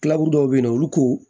Kilaburu dɔw be yen nɔ olu k'u